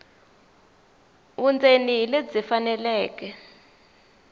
vundzeni hi lebyi faneleke